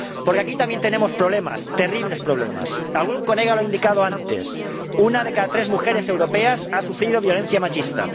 Porque aquí también tenemos problemas, terribles problemas, ―algún colega lo ha indicado antes― una de cada tres mujeres europeas ha sufrido violencia machista.